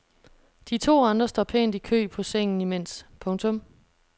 De to andre står pænt i kø på sengen imens. punktum